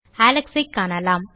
Alex ஐ காணலாம்